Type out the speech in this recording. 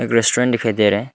Restaurant दिखाई दे रहा है।